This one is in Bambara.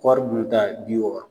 kɔɔri bi wɔɔrɔ